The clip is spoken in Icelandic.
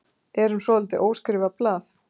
Erum svolítið óskrifað blað